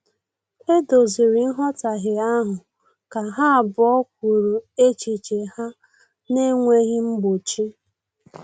E doziri nghọtahie ahụ ka ha abụọ kwuru echiche ha na-enweghị mgbochi